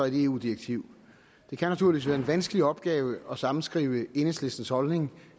eu direktiv det kan naturligvis være en vanskelig opgave at sammenskrive enhedslistens holdning